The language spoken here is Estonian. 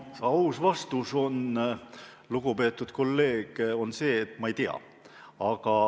Mu aus vastus, lugupeetud kolleeg, on see, et ma ei tea.